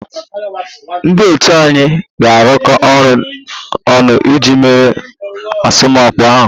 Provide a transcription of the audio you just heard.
Ndị otu anyị ga-arụkọ ọrụ ọnụ iji merie asọmpi ahụ